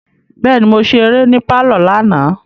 Bẹẹni, Mo ṣe eré ni parlor lana